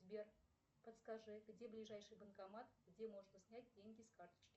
сбер подскажи где ближайший банкомат где можно снять деньги с карточки